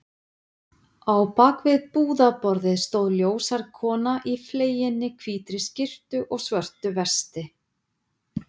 Á bak við búðarborðið stóð ljóshærð kona í fleginni hvítri skyrtu og svörtu vesti.